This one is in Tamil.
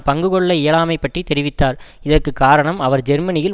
பங்கு கொள்ள இயலாமை பற்றி தெரிவித்தார் இதற்கு காரணம் அவர் ஜெர்மனியில்